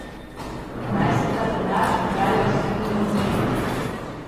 Naj se ta denar raje usmeri v nogomet.